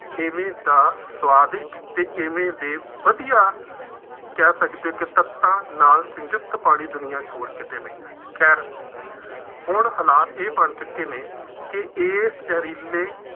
ਐਵੇਂ ਦਾ ਸੁਆਦਿਸ਼ਟ ਅਤੇ ਐਵੇਂ ਦੇ ਵਧੀਆਂ ਕਹਿ ਸਕਦੇ ਹੋ ਕਿ ਤੱਤਾਂ ਨਾਲ ਸਿੰਜ਼ਤ ਪਾਣੀ ਦੁਨੀਆਂ ਚ ਹੋਰ ਕਿਤੇ ਨਹੀਂ ਹੈ। ਖੈਰ ਹੁਣ ਹਾਲਾਤ ਇਹ ਬਣ ਚੁੱਕੇ ਨੇ, ਕਿ ਇਸ ਜ਼ਹਿਰੀਲੇ